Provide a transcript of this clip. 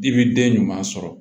I bi den ɲuman sɔrɔ